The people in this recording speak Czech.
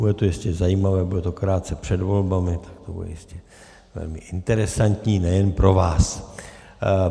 Bude to jistě zajímavé, bude to krátce před volbami, tak to bude jistě velmi interesantní nejen pro vás.